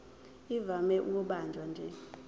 ivame ukubanjwa nje